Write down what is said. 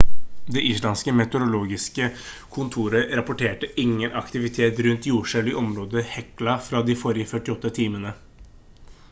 det islandske meteorologiske kontoret rapporterte ingen aktivitet rundt jordskjelv i området hekla fra de forrige 48 timene